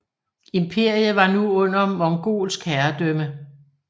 Imperiet var nu under mongolsk herredømme